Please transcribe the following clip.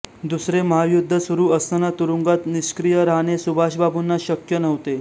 दुसरे महायुद्ध सुरू असताना तुरूंगात निष्क्रिय राहणे सुभाषबाबूंना शक्य नव्हते